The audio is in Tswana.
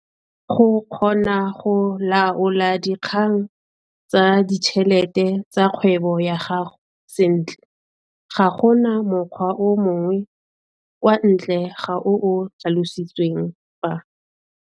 Go kgona go laola dikgang tsa ditšhelete tsa kgwebo ya gago sentle ga go na mokgwa o mongwe kwa ntle ga o o tlhalositsweng fa.